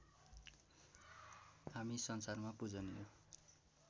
हामी संसारमा पूजनीय